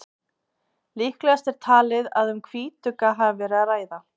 Líklegast er talið að um hvítugga hafi verið að ræða.